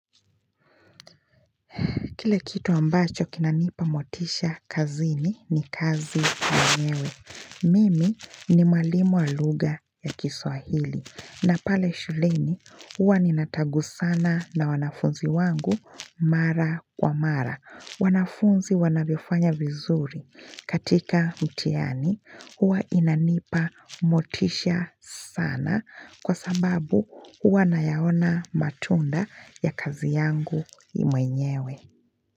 Kile kitu ambacho kinanipa motisha kazini ni kazi mwenyewe Mimi ni mwalimu wa lugha ya kiswahili na pale shuleni huwa ni natangusana na wanafunzi wangu mara kwa mara wanafunzi wanavyofanya vizuri katika mtiani huwa inanipa motisha sana kwa sababu huwa nayaona matunda ya kazi yangu mwenyewe.